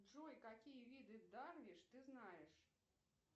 джой какие виды дарвиш ты знаешь